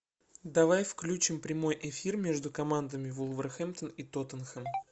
давай включим прямой эфир между командами вулверхэмптон и тоттенхэм